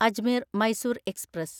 Ajmer Mysore express